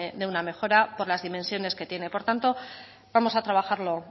de una mejora por las dimensiones que tiene por tanto vamos a trabajarlo